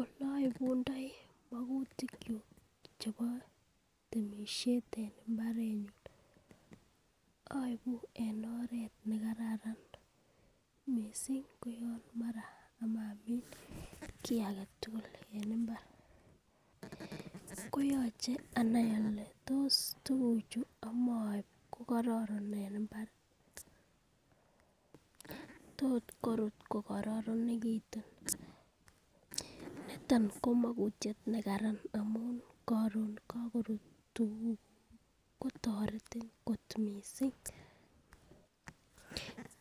Ole oibundoi mokutik kyuk chebo temishet en imabrenyun oibu en oret nekararan missing ko mara yon omoi amin ki agetutuk en imbar koyoche anai ole tos tukuchu omoi ko kororon en imbar tot korut ko kororonekitu n niton ko makutyet nekararan korun kokorut tukuk kotoretin kot missing.